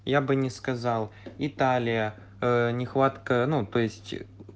я бы не сказал италия нехватка ну то есть